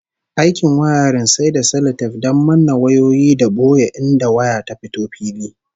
Aikin wiring sai da salatef don manne wayoyi da boye inda waya ta fito fili